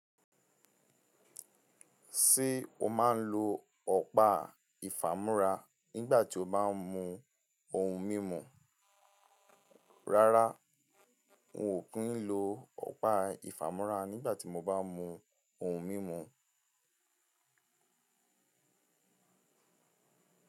Ṣé o máa ń lo ọ̀pá ìfàmúora nígbà tí o bá ń mu ohun mímu? Rárá, n ò kí ń lo ọ̀pá ìfàmú́ra nígbà tí mo bá ń mu ohun mímu.